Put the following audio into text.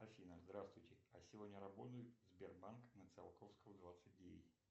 афина здравствуйте а сегодня работает сбербанк на циолковского двадцать девять